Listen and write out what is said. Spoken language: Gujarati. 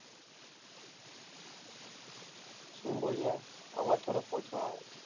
શું બોલ્યા? અવાજ થોડોક ઓછો આવે છે.